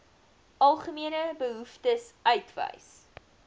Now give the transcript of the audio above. algemene behoeftes uitwys